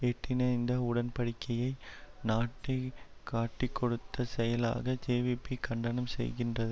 எட்டின இந்த உடன்படிக்கையை நாட்டை காட்டிக்கொடுத்த செயலாக ஜேவிபி கண்டனம் செய்கின்ற